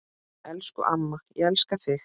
Elsku amma, ég elska þig.